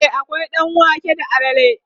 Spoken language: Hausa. e akwai ɗanwake da alala